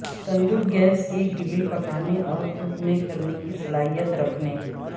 تندور gas ایک grill پکانے اور تھوکنے کرنے کی صلاحیت رکھنے